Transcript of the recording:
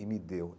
E me deu.